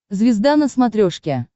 звезда на смотрешке